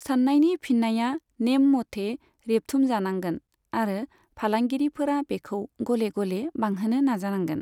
सान्नायनि फिन्नाया नेम मथै रेबथुमजानांगोन आरो फालांगिरिफोरा बेखौ गले गले बांहोनो नाजानांगोन।